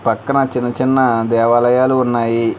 పక్కన చిన్న చిన్న దేవాలయాలు ఉన్నాయి.